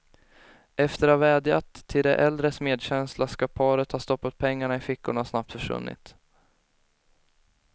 Efter att ha vädjat till de äldres medkänsla skall paret ha stoppat pengarna i fickorna och snabbt försvunnit.